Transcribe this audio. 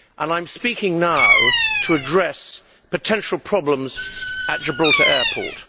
I am speaking now to address potential problems at Gibraltar airport.